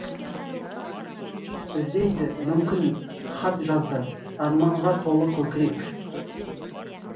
іздейді мүмкін хат жазды арманға толы көкірек